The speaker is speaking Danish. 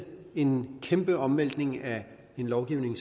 en kæmpe omvæltning af en lovgivning